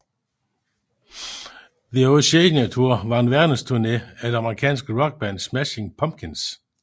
The Oceania Tour var en verdensturné af det amerikanske rockband Smashing Pumpkins